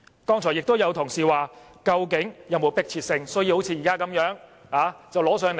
剛才亦有同事問到，究竟是否有迫切性，要現在就提交立法會？